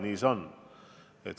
Nii see on.